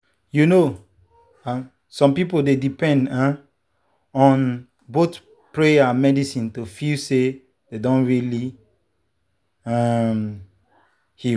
you know um some people dey depend um on both prayer and medicine to feel say dem don really um heal.